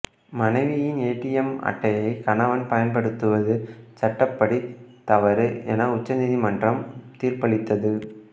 மனைவியின் ஏடிஎம் அட்டையை கணவன் பயன்படுத்துவது சட்டப்படி தவறு என உச்சநீதிமன்றம் தீர்ப்பளித்தது